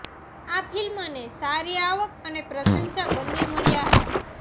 આ ફિલ્મને સારી આવક અને પ્રશંસા બન્ને મળ્યાં હતાં